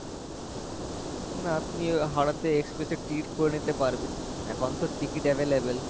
না তুমি হাওড়া তে express এর ticket করে নিতে পারবে এখন তো ticket available